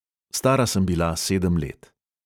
Stara sem bila sedem let.